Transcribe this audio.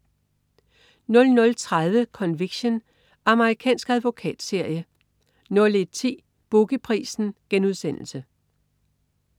00.30 Conviction. Amerikansk advokatserie 01.10 Boogie Prisen*